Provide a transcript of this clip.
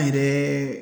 An yɛrɛ